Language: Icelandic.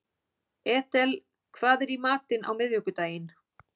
Edel, hvað er í matinn á miðvikudaginn?